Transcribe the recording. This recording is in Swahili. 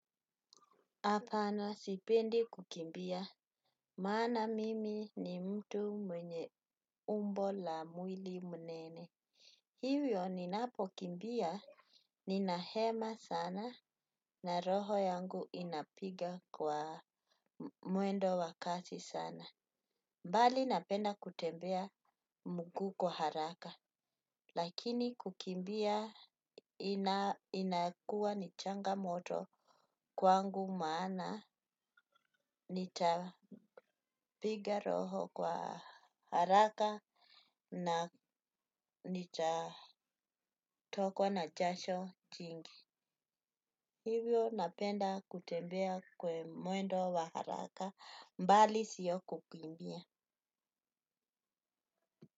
Apana sipendi kukimbia, maana mimi ni mtu mwenye umbo la mwili mnene. Hiwyo ninapokimbia, ninahema sana na roho yangu inapiga kwa mwendo wa kasi sana. Mbali napenda kutembea mguu kwa haraka, lakini kukimbia inakuwa ni changamoto kwangu maana nitapiga roho. Kwa haraka na nitatokwa na jasho kingi hivyo napenda kutembea kwa mwendo wa haraka bali sio kukimbia.